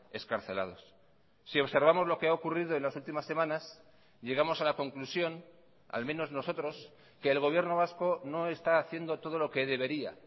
excarcelados si observamos lo que ha ocurrido en las últimas semanas llegamos a la conclusión al menos nosotros que el gobierno vasco no está haciendo todo lo que debería